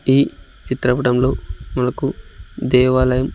ఈ చిత్రపటంలో మనకు దేవాలయం--